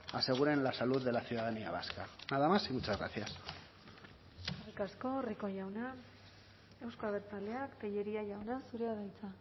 aseguren la salud de la ciudadanía vasca nada más y muchas gracias eskerrik asko rico jauna euzko abertzaleak tellería jauna zurea da hitza